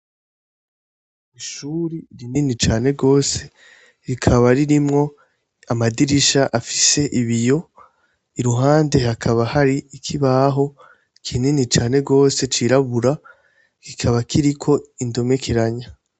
Ishure rinini cane gose, rikaba ririmwo amadirisha afise ibiyo, iruhande hakaba hari ikibaho kinini cane gose c'irabura, kikaba kiriko indomekeranya.